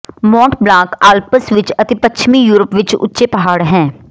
Mont Blanc Alps ਵਿੱਚ ਅਤੇ ਪੱਛਮੀ ਯੂਰਪ ਵਿੱਚ ਉੱਚੇ ਪਹਾੜ ਹੈ